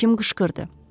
Həkim qışqırdı.